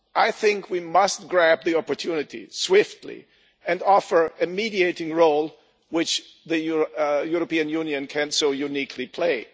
I think we must grab the opportunity swiftly and offer a mediating role which the European Union can so uniquely play.